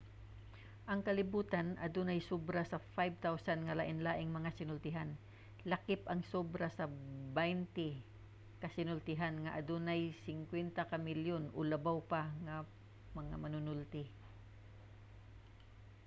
ang kalibutan adunay sobra sa 5,000 nga lainlaing mga sinultian lakip ang sobra sa baynte ka sinultihan nga adunay 50 ka milyon o labaw pa nga mga manunulti